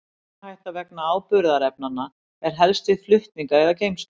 Mengunarhætta vegna áburðarefnanna er helst við flutninga eða geymslu.